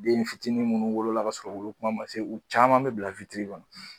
Dennifitinin munnu wolo la k'a sɔrɔ u wolo kuma ma se u caaman be bila witiri kɔnɔ